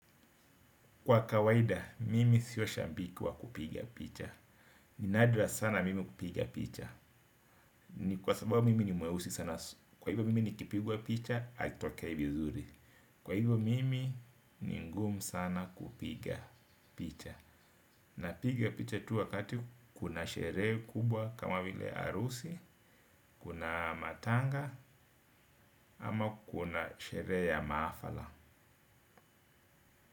Kwa kawaida, mimi sio shabiki wa kupiga picha. Ni nadra sana mimi kupiga picha. Ni kwa sababu mimi ni mweusi sana. Kwa hivyo mimi nikipigwa picha, haitokei vizuri. Kwa hivyo mimi ni ngumu sana kupiga picha. Napiga picha tu wakati kuna sherehe kubwa, kama vile harusi, kuna matanga, ama kuna sherehe ya mahafala.